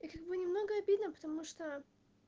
и как бы немного обидно потому что